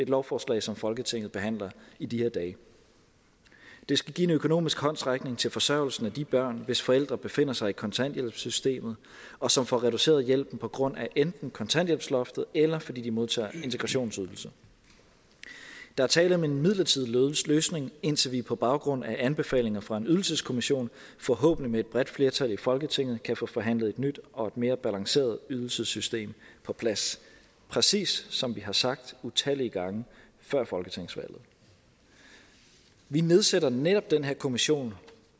lovforslag som folketinget behandler i de her dage det skal give en økonomisk håndsrækning til forsørgelsen af de børn hvis forældre befinder sig i kontanthjælpssystemet og som får reduceret hjælpen på grund af enten kontanthjælpsloftet eller fordi de modtager integrationsydelse der er tale om en midlertidig løsning indtil vi på baggrund af anbefalinger fra en ydelseskommission forhåbentlig med et bredt flertal i folketinget kan få forhandlet et nyt og mere balanceret ydelsessystem på plads præcis som vi har sagt utallige gange før folketingsvalget vi nedsætter netop den her kommission